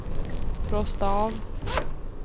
frosta av